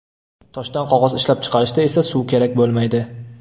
Toshdan qog‘oz ishlab chiqarishda esa suv kerak bo‘lmaydi.